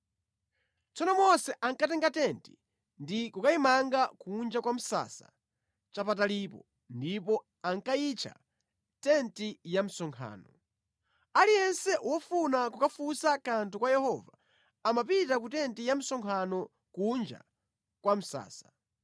Tsono Mose ankatenga tenti ndi kukayimanga kunja kwa msasa chapatalipo, ndipo ankayitcha “tenti ya msonkhano.” Aliyense wofuna kukafunsa kanthu kwa Yehova amapita ku tenti ya msonkhano kunja kwa msasa.